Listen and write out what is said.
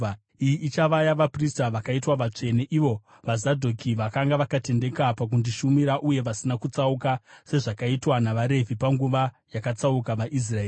Iyi ichava yavaprista vakaitwa vatsvene, ivo vaZadhoki, vakanga vakatendeka pakundishumira uye vasina kutsauka sezvakaitwa navaRevhi panguva yakatsauka vaIsraeri.